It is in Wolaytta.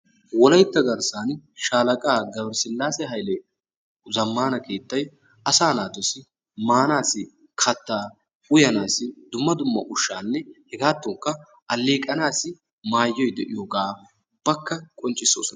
wolaytta garsani shaalaqaa gabere silaase hayle keettan asaa naatussi maanassi kataa , uyanaassi dumma dumma ushata hegaadankka aleeqanaassi maayoy de'iyogaa qonccisoosona.